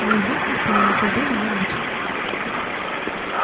неизвестность о её судьбе меня мучила